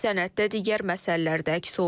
Sənəddə digər məsələlər də əks olunub.